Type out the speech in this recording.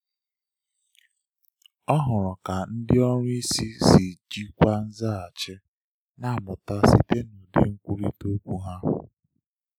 Ọ hụrụ ka ndị ọrụ isi si jikwaa nzaghachi, na-amụta site n’ụdị nkwurịta okwu ha.